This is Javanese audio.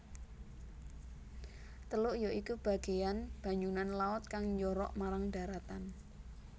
Teluk ya iku bagéyan banyunan laut kang njorok marang dharatan